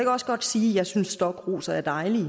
også godt sige at jeg synes stokroser er dejlige